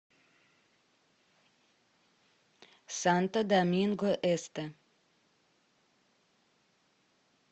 санто доминго эсте